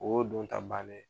O y'o don ta bannen ye.